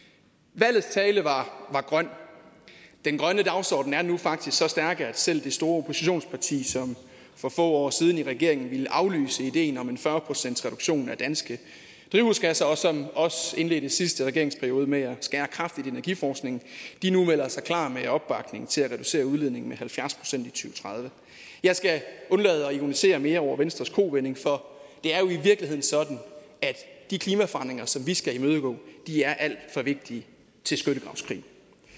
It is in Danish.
valgets tale var grøn den grønne dagsorden er nu faktisk så stærk at selv det store oppositionsparti som for få år siden i regeringen ville aflyse ideen om en fyrre procentsreduktion af danske drivhusgasser og som også indledte sidste regeringsperiode med at skære kraftigt i energiforskningen nu melder sig klar med opbakning til at reducere udledningen med halvfjerds procent i tredive jeg skal undlade at ironisere mere over venstres kovending for det er jo i virkeligheden sådan at de klimaforandringer som vi skal imødegå er alt for vigtige til skyttegravskrig